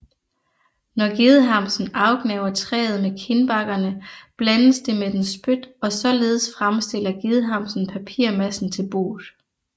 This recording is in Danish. Når gedehamsen afgnaver træet med kindbakkerne blandes det med dens spyt og således fremstiller gedehamsen papirmassen til boet